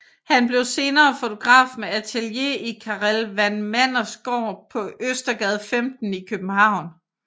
Han blev senere fotograf med atelier i Karel van Manders Gård på Østergade 15 i København